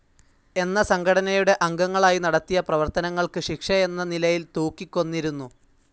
എന്ന സംഘടനയുടെ അംഗങ്ങളായി നടത്തിയ പ്രവർത്തനങ്ങൾക്ക് ശിക്ഷയെന്ന നിലയിൽ തൂക്കിക്കൊന്നിരുന്നു.